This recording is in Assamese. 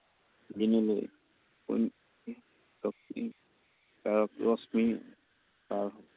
শক্তি আৰু